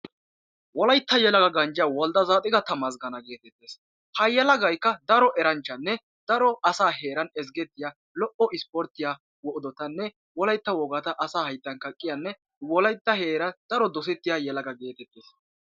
Wolaytta wodala ganjjiya wolde tsaadiqa tamasggeena geetettes. Ha yelagaykka daro eranchchanne daro asaa heeran ezggettiya lo"o ispporttiya odotanne wolaytta wogata asaa hayttan kaqqiyanne wolaytta heeran daro dosettiya yelaga geetettes.